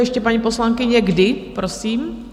Ještě, paní poslankyně, kdy, prosím?